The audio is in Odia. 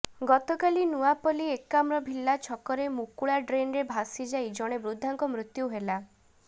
ଗତକାଲି ନୂଆପଲ୍ଲୀ ଏକାମ୍ରଭିଲ୍ଲା ଛକରେ ମୁକୁଳା ଡ୍ରେନ୍ରେ ଭାସି ଯାଇ ଜଣେ ବୃଦ୍ଧାଙ୍କ ମୃତ୍ୟୁ ହେଲା